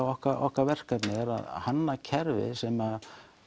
okkar okkar verkefni er að hanna kerfi sem